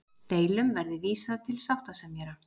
Deilum verði vísað til sáttasemjara